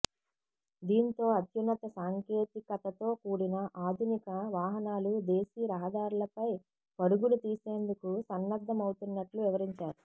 దీంతో అత్యున్నత సాంకేతికతతో కూడిన ఆధునిక వాహనాలు దేశీ రహదారులపై పరుగులు తీసేందుకు సన్నద్ధమవుతున్నట్లు వివరించారు